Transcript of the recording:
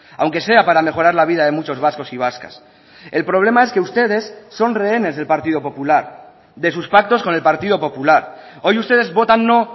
aunque sea para mejorar la vida de muchos vascos y vascas el problema es que ustedes son rehenes del partido popular de sus pactos con el partido popular hoy ustedes votan no